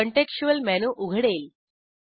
contextual menu उघडेल